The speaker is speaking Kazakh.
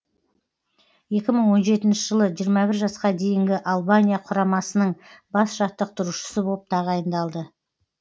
екі мың он жеті жылы жиырма бір жасқа дейінгі албания құрамасының бас жаттықтырушысы боп тағайындалды